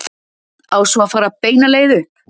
Á svo að fara beina leið upp?